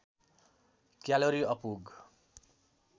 calorie अपुग